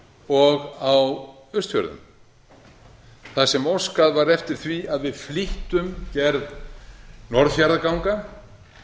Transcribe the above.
og á austfjörðum þar sem óskað var eftir því að við flýttum gerð norðfjarðarganga